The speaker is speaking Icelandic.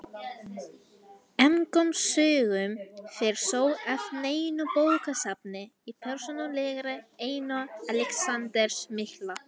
Engum sögum fer þó af neinu bókasafni í persónulegri eigu Alexanders mikla.